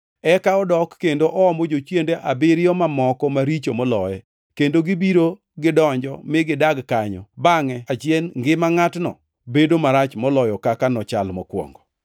Eka odok kendo oomo jochiende abiriyo mamoko maricho moloye, kendo gibiro gidonj mi gidag kanyo. Bangʼe achien ngima ngʼatno bedo marach moloyo kaka nochal mokwongo.”